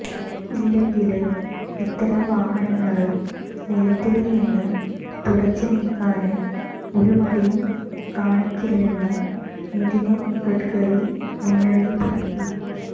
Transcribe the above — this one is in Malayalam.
ഇല്ലെങ്കില് ഇത്തരം വാഹനങ്ങള് നിരത്തില്നിന്ന് തുടച്ചുനീക്കാന് ഒരുമടിയും കാണിക്കില്ലെന്ന് നിതിന് ഗഡ്കരി മുന്നറിയിപ്പ് നല്കി